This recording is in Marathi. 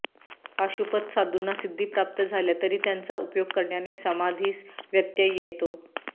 पाशुपत साधूंना सिद्धी प्राप्त झाल्या तरी त्यांचा उपयोग करण्याने समाधीस व्यत्यय येतो